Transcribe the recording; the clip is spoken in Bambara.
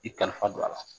I kalifa don a la